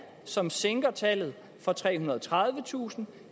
som sænker tallet fra trehundrede og tredivetusind